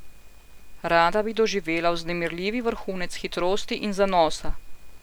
Rada bi doživela vznemirljivi vrhunec hitrosti in zanosa.